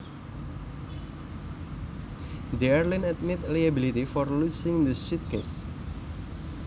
The airline admitted liability for loosing the suitcase